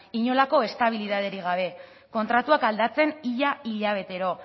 inolako estabilidaderik gabe kontratuak aldatzen ia hilabetero